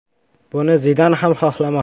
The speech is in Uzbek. Buni Zidan ham xohlamoqda.